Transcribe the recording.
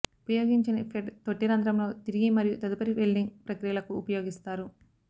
ఉపయోగించని ఫెడ్ తొట్టి రంధ్రంలో తిరిగి మరియు తదుపరి వెల్డింగ్ ప్రక్రియలకు ఉపయోగిస్తారు